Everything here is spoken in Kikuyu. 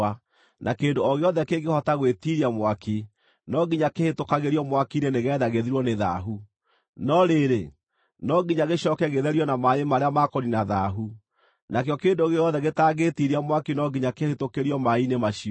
na kĩndũ o gĩothe kĩngĩhota gwĩtiiria mwaki, no nginya kĩhĩtũkagĩrio mwaki-inĩ nĩgeetha gĩthirwo nĩ thaahu. No rĩrĩ, no nginya gĩcooke gĩtherio na maaĩ marĩa ma kũniina thaahu. Nakĩo kĩndũ gĩothe gĩtangĩĩtiiria mwaki no nginya kĩhĩtũkĩrio maaĩ-inĩ macio.